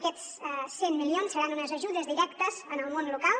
aquests cent milions seran unes ajudes directes al món local